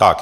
Tak.